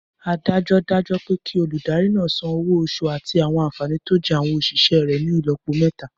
Adájọ́ dájọ́ pé kí olùdarí náà san owó oṣù àti àwọn ànfàní tó jẹ́ àwọn òṣìṣẹ́ rẹ̀ ní ìlọ́po mẹ́ta